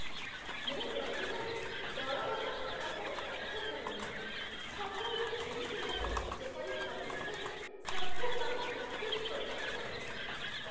ମୁଁ ପ୍ରକୃତରେ ଦଳଗତ ପ୍ରକଳ୍ପର ପକ୍ଷଧର ନୁହେଁ, ସବୁବେଳେ ଏମିତି ଲାଗେ, ଯେପରି ପରିଶେଷରେ ସବୁ କାମ ମୋତେ ହିଁ କରିବାକୁ ପଡ଼େ।